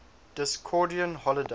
discordian holidays